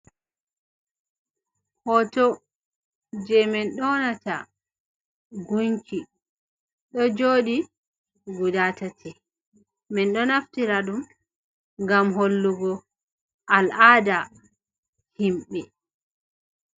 Hoto je min yonata gunki, ɗo joɗi guda tati, min ɗo naftira ɗum ngam hollugo al'ada himɓe.